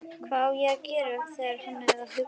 Hvað á ég að gera var hann að hugsa.